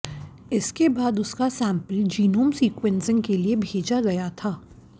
इसके बाद उसका सैंपल जीनोम सीक्वेंसिंग के लिए भेजा गया था